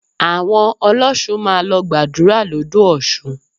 Àwọn ọlọ́ṣun máa lọ gbàdúrà l'ódò Ọ̀ṣun